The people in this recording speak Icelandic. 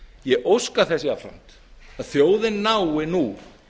ég óska þess jafnframt að þjóðin nái nú